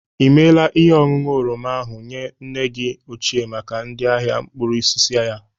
I mela ihe oñụñu oroma ahụ nye nne gi ochie maka ndị ahịa mkpụrụosisi ya?